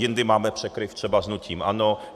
Jindy máme překryv třeba s hnutím ANO.